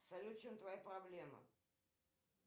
салют в чем твоя проблема